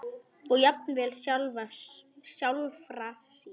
og jafnvel sjálfra sín.